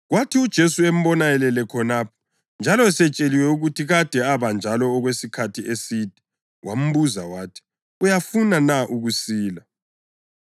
Kwathi uJesu embona elele khonapho njalo esetsheliwe ukuthi kade abanjalo okwesikhathi eside, wambuza wathi, “Uyafuna na ukusila?”